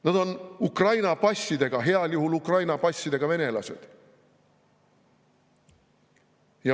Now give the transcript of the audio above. Nad on Ukraina passiga, heal juhul Ukraina passiga venelased.